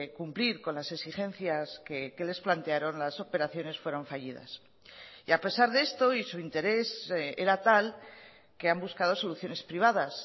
cumplir con las exigencias que les plantearon las operaciones fueron fallidas y a pesar de esto y su interés era tal que han buscado soluciones privadas